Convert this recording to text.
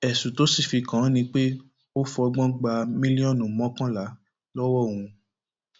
ẹsùn tó sì fi kàn án ni pé ó fọgbọn gba mílíọnù mọkànlá lọwọ òun